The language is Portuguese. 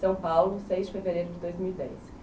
São Paulo, seis de fevereiro de dois mil e dez.